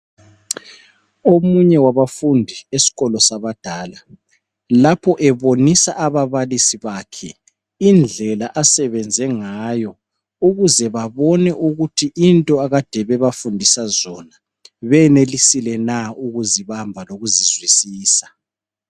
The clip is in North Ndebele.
Omunye wabafundi esikolo sabadala lapho ebonisa ababalisi bakhe indlela asebenze ngayo ukuze babone ukuthi into akade bebafundisa zona benelisile na ukuzibamba lokuzizwisisa.